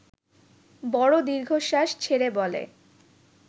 বড় দীর্ঘশ্বাস ছেড়ে বলে